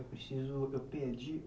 Eu preciso... Eu perdi